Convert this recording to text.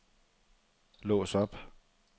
lås op